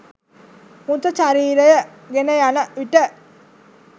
මෘතශරීරය ගෙනයන විට